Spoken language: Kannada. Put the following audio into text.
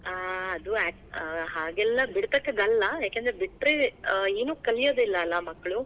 ಹಾ. ಅದು, ಹಾಗೇಲ್ಲಾ ಬಿಡ್ತಕ್ಕದ್ದಲ್ಲ, ಯಾಕಂದ್ರೆ ಬಿಟ್ರೆ ಆ ಏನೂ ಕಲಿಯೋದಿಲಾ ಅಲ್ಲಾ ಮಕ್ಳು.